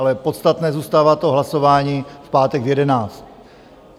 Ale podstatné zůstává to hlasování v pátek v jedenáct.